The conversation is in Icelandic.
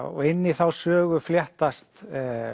og inn í þá sögu fléttast